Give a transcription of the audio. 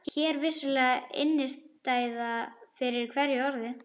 Hér er vissulega innistæða fyrir hverju orði.